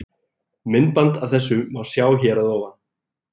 Myndband af þessu má sjá hér að ofan.